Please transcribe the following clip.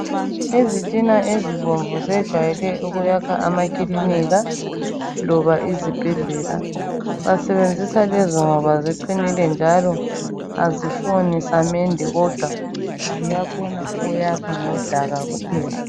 Izitina ezibomvu zejwayele ukuyakha amakilinika loba izibhedlela. Basebenzisa lezo ngoba ziqinile njalo azifuni samende kodwa ziyakhona ukuyakha ngodaka kuphela.